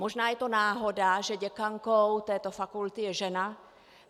Možná je to náhoda, že děkankou této fakulty je žena.